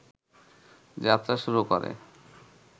যাত্রা শুরু করে